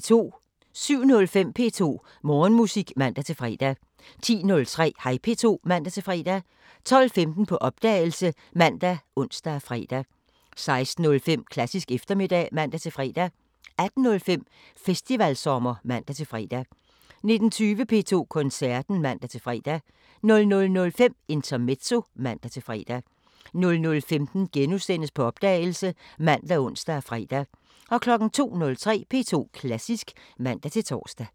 07:05: P2 Morgenmusik (man-fre) 10:03: Hej P2 (man-fre) 12:15: På opdagelse ( man, ons, fre) 16:05: Klassisk eftermiddag (man-fre) 18:05: Festivalsommer (man-fre) 19:20: P2 Koncerten (man-fre) 00:05: Intermezzo (man-fre) 00:15: På opdagelse *( man, ons, fre) 02:03: P2 Klassisk (man-tor)